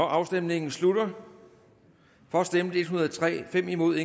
afstemningen slutter for stemte en hundrede og tre imod